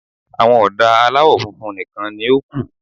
Àwọn ọ̀dà aláwọ̀ funfun nìkan ni ó kù.